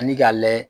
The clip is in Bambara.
Ani k'a layɛ